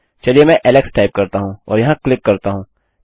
चलिए मैं Alex type करता हूँ और यहाँ क्लिक करता हूँ